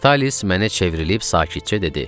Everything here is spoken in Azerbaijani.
Vitalis mənə çevrilib sakitcə dedi: